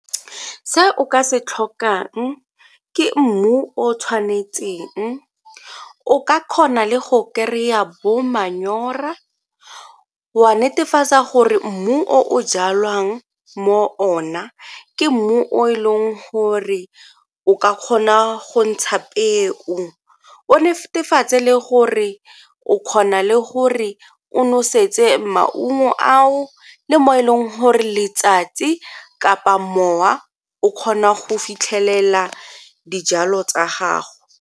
Se o ka se tlhokang ke mmu o o tshwanetseng, o ka kgona le go kry-a bo manyora, wa netefatsa gore mmu o jalang mo ona ke mmu o e leng gore o ka kgona go ntsha peo, o netefatse le gore o kgona le gore o nosetse maungo ao le mo e leng gore letsatsi kapa mowa o kgona go fitlhelela dijalo tsa gago.